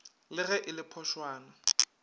le ge e le phošwana